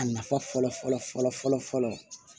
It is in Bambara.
A nafa fɔlɔ fɔlɔ fɔlɔ fɔlɔ fɔlɔ